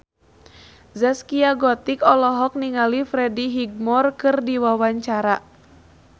Zaskia Gotik olohok ningali Freddie Highmore keur diwawancara